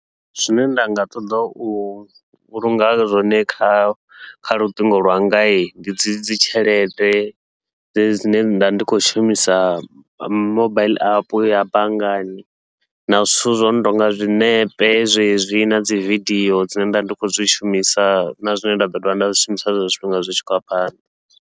Zwine nda nga ṱoḓa u vhulunga zwone kha kha luṱingo lwanga, ndi dzi dzi tshelede dzedzi dzine nda ndi khou shumisa mobaiḽi app ya banngani na zwithu zwono tonga zwiṋepe zwezwi, nadzi vidio dzine nda ndi khou zwi shumisa na zwine nda ḓo dovha nda zwishumisa zwezwo zwifhinga zwi tshi khou ya phanḓa.